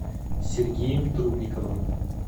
сергеем трубниковым